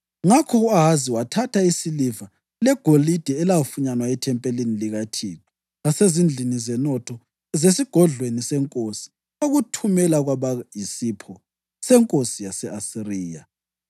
Ngakho u-Ahazi wathatha isiliva legolide elafunyanwa ethempelini likaThixo lasezindlini zenotho zesigodlweni senkosi wakuthumela kwaba yisipho senkosi yase-Asiriya.